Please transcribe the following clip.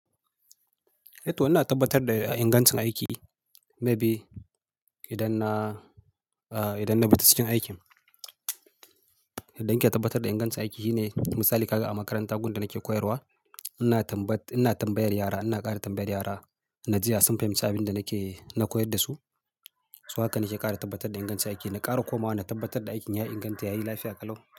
Eh to ina tabbatar da ingancin aiki maybe idan na, idan na bincike tasirin aikin. Yadda in ke tabbatar da ingancin aiki shi ne misali kaga a makaranta gunda nake koyarwa. Ina tambayar yara, ina ƙara tambayar yara na ji ya sun fahimci abinda nake, na koyar da su. So haka nake ƙara tabbatar da ingancin aiki. Na ƙara komawa na tabbatar da aikin ya inganta, ya yi lafiya kalau.